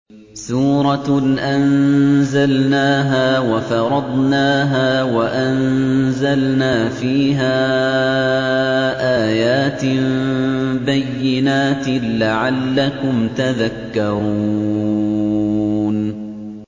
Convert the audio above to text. سُورَةٌ أَنزَلْنَاهَا وَفَرَضْنَاهَا وَأَنزَلْنَا فِيهَا آيَاتٍ بَيِّنَاتٍ لَّعَلَّكُمْ تَذَكَّرُونَ